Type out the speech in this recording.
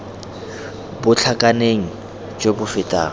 bo tlhakaneng jo bo fetang